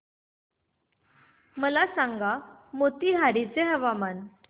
मला सांगा मोतीहारी चे हवामान